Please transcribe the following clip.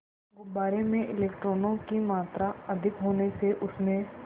गुब्बारे में इलेक्ट्रॉनों की मात्रा अधिक होने से उसमें